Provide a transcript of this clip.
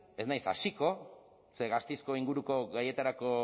ez naiz hasiko ze gasteizko inguruko gaietarako